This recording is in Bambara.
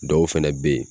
Dɔw fɛnɛ be yen